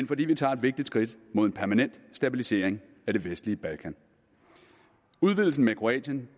fordi vi tager et vigtigt skridt mod en permanent stabilisering af det vestlige balkan udvidelsen med kroatien